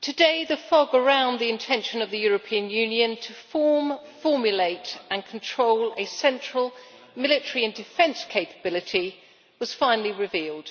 today the fog around the intention of the European Union to form, formulate and control a central military and defence capability was finally revealed.